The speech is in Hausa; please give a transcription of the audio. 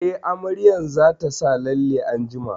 Eh, amaryar za ta sa lalle anjima